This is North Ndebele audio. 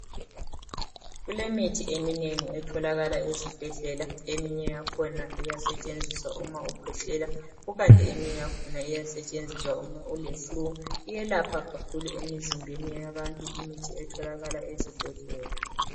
Kulemithi eminengi etholakala ezibhedlela eminye yakhona iyasetshenziswa uma ukhwehlela kukanti eminye yakhona eminye yakhona iyasetshenziswa uma ule flu iyelapha kakhulu emizimbeni yabantu imithi etholakala ezibhedlela.